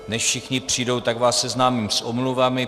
Než všichni přijdou, tak vás seznámím s omluvami.